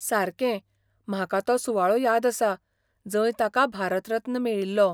सारकें, म्हाका तो सुवाळो याद आसा, जंय ताका भारत रत्न मेळिल्लो.